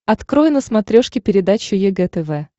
открой на смотрешке передачу егэ тв